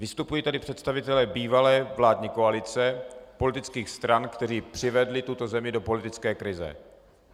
Vystupují tady představitelé bývalé vládní koalice politických stran, kteří přivedli tuto zemi do politické krize.